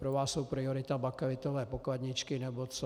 Pro vás jsou priorita bakelitové pokladničky nebo co.